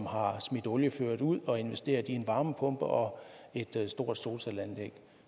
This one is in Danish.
har smidt oliefyret ud og investeret i en varmepumpe og et stort solcelleanlæg